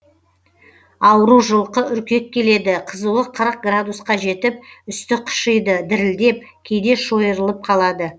ауру жылқы үркек келеді қызуы қырық граудусқа жетіп үсті қышиды дірілдеп кейде шойырылып қалады